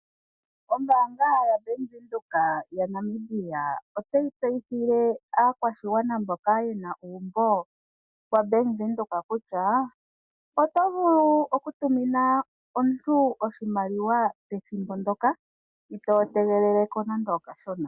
Ombaanga yaBank Windhoek yaNamibia otayi tseyithile aakwashigwana mboka ye na uumbo waBank Windhoek kutya oto vulu okutumina omuntu oshimaliwa pethimbo ndyoka itoo tegelele ko nande okashona.